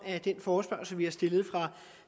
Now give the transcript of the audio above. af den forespørgsel vi har stillet fra